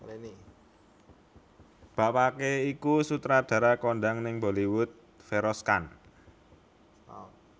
Bapaké iku sutradara kondhang ning Bollywood Feroz Khan